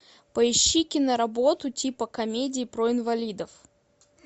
поищи киноработу типа комедии про инвалидов